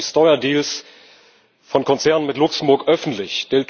die Steuerdeals von Konzernen mit Luxemburg öffentlich.